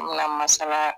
Na masala